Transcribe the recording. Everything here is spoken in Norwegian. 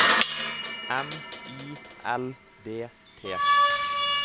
M I L D T